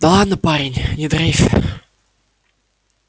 да ладно парень не дрейфь